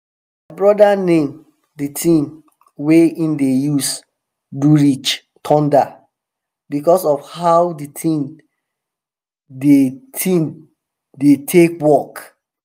broda name di tin wey em dey use do ridge "thunder" because of how di tin di tin dey take work.